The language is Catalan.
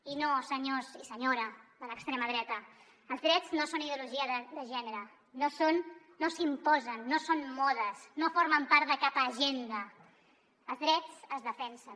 i no senyors i senyora de l’extrema dreta els drets no són ideologia de gènere no s’imposen no són modes no formen part de cap agenda els drets es defensen